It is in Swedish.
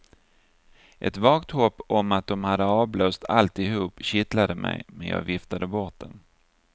Ett vagt hopp om att de hade avblåst alltihop kittlade mig, men jag viftade bort det.